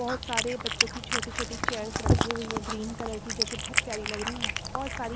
बहुत सारे बच्चों की छोटी-छोटी चेयर्स रखी हुई हैग्रीन कलर की जो कि बहुत प्यारी लग रही है बहुत--